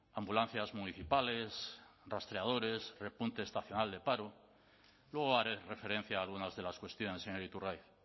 ambulancias municipales rastreadores repunte estacional de paro luego haré referencia a algunas de las cuestiones señor iturgaiz